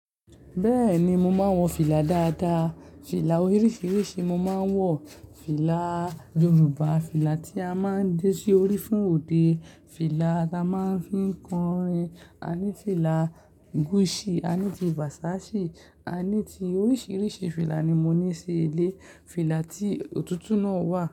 Bẹ́ẹ̀ni, mo máa ń wọ fìlà dáadáa. Fìlà oríṣiríṣi mo máa ń wọ. Fìlà Yorùbá, fìlà tí a máa ń dé sí orí fún òde, fìlà ta máa ń fi ń kọrin, a ní fìlà Gucci, a ní ti Versace, a ní ti oríṣiríṣi fìlà ni mo ní sí ilé. Fìlà tí òtútù náà wà.